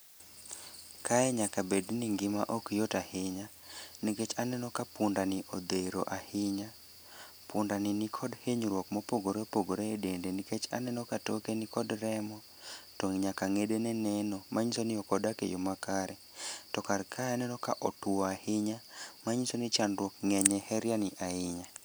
Kae nyaka bedni ngima okyot ahinya nikech aneno ka pundani odhero ahinya, pundani nikod hinyruok mopogore opogore e dende nikech aneno ka toke nikod remo to nyaka ng'edene neno manyiso ni ok odak e yo makare. To karka aneno kotwo ahinya manyiso ni chandruok ng'eny e heriani ahinya.